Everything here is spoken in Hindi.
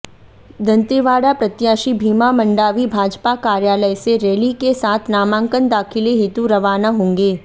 दंतेवाड़ा प्रत्याशी भीमा मंडावी भाजपा कार्यालय से रैली के साथ नामांकन दाखिले हेतु रवाना होंगे